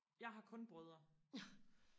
jeg har kun brødre